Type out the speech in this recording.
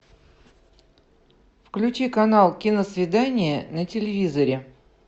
включи канал киносвидание на телевизоре